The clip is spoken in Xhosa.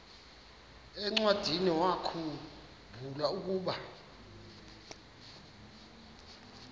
encwadiniwakhu mbula ukuba